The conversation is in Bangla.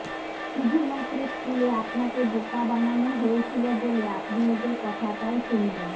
শুধুমাত্র স্কুলে আপনাকে বোকা বানানো হয়েছিল বলে আপনি ওদের কথাটাও শুনবেন